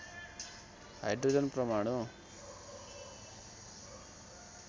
hydrogen परमाणु